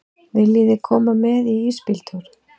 Viljiði koma með í ísbíltúr?